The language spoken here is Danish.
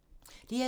DR2